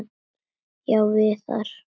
Já, Viðar.